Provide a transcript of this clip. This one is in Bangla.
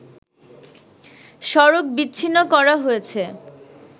সড়ক বিচ্ছিন্ন করা হয়েছে